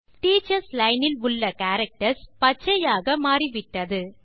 teachers line இல் உள்ள characters பச்சையாக மாறிவிட்டன